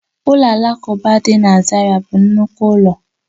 Ụlọ alakụba dị na Zaira bụ nnukwu ụlọ